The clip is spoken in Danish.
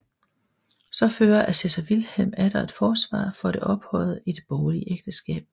Så fører assessor Vilhelm atter et forsvar for det ophøjede i det borgerlige ægteskab